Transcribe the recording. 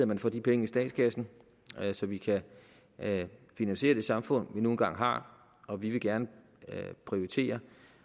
man får de penge i statskassen så vi kan finansiere det samfund vi nu engang har og vi vil gerne prioritere